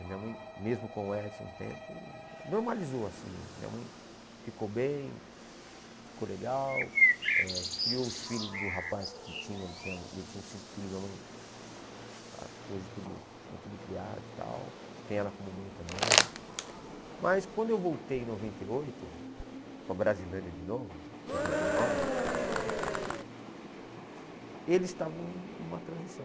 minha mãe, mesmo com o Edson um tempo, normalizou assim, minha mãe ficou bem, ficou legal, eh criou os filhos do rapaz que tinha, ele tinha ele tinha uns cinco filhos, minha mãe, ah hoje tudo estão tudo criados e tal, tem ela como mãe também, mas quando eu voltei em noventa e oito, para a Brasilândia de novo, noventa e nove, eles estavam em uma transição,